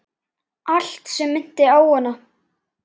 Allt sem minnti á hana.